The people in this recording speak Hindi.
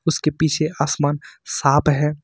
उसके पीछे आसमान साफ है।